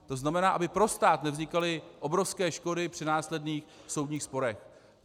To znamená, aby pro stát nevznikaly obrovské škody při následných soudních sporech.